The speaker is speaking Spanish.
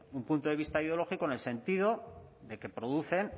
un punto de vista ideológico en el sentido de que producen